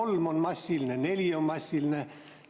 Kas kolm on massiline või neli on massiline?